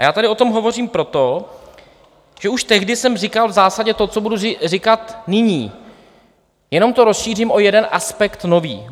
A já tady o tom hovořím proto, že už tehdy jsem říkal v zásadě to, co budu říkat nyní, jenom to rozšířím o jeden aspekt nový.